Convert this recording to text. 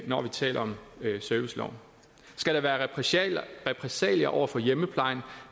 når vi taler om serviceloven skal der være repressalier repressalier over for hjemmeplejen